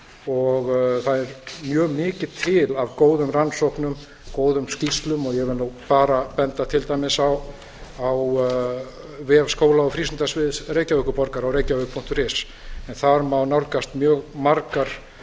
og það er mjög mikið til af góðum rannsóknum góðum skýrslum og ég vil nú bara benda til dæmis á vef skóla og frístundasviðs reykjavíkurborgar á reykjavik punktur is en þar má nálgast mjög margar